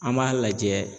An b'a lajɛ